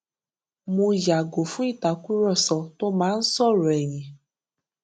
mo yààgò fún ìtàkùrọsọ tó máa ń sọrọ ẹyìn